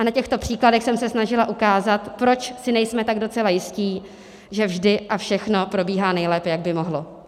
A na těchto příkladech jsem se snažila ukázat, proč si nejsme tak docela jistí, že vždy a všechno probíhá nejlépe, jak by mohlo.